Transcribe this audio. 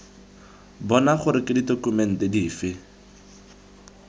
bona gore ke ditokumente dife